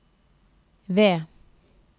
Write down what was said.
V